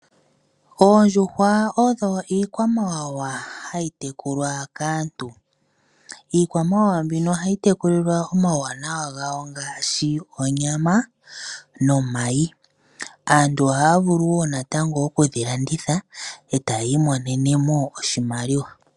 Oondjuhwa odho iikwamawawa hayi tekulwa kaantu. Iikwamawawa mbino ohayi tekulilwa omauwanawa gayo ngaashi onyama nomayi. Aantu ohaa vulu wo natango oku dhi landitha e taya imonene mo oshimaliwa.